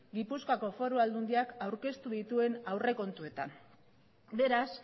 gipuzkoako foru aldundiak aurkeztu dituen aurrekontuetan beraz